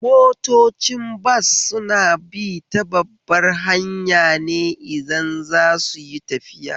Motocin bas suna bi ta babbar hanya ne idan za suyi tafiya